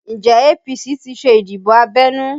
Njẹ́ APC ti ṣe ìdìbò abẹ́nú?